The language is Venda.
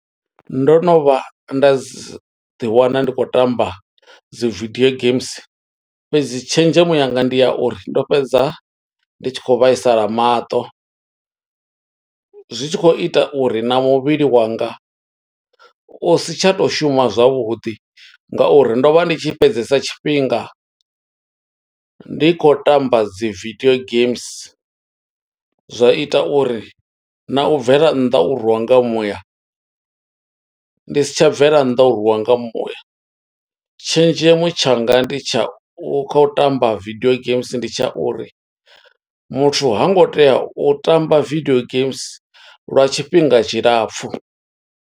Ndo no vha nda zi, ḓi wana ndi khou tamba dzi vidio games, fhedzi tshenzhemo yanga ndi ya uri ndo fhedza ndi tshi kho vhaisala maṱo. Zwi tshi khou ita uri na muvhili wanga, u si tsha to shuma zwavhuḓi, nga uri ndo vha ndi tshi fhedzesa tshifhinga, ndi khou tamba dzi video games. Zwa ita uri na u bvela nnḓa u rwiwa nga muya, ndi si tsha bvela nnḓa, u rwiwa nga muya. Tshenzhemo tshanga ndi tsha u, kha u tamba video games ndi tsha uri, muthu hango tea u tamba video games lwa tshifhinga tshilapfu.